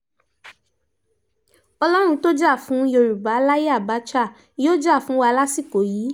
ọlọ́run tó jà fún yorùbá láyè àbácha yóò jà fún wa lásìkò yìí